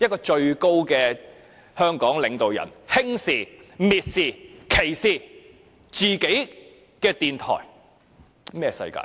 香港的最高領導人，竟然輕視、蔑視、歧視自己的電台，這是甚麼世界？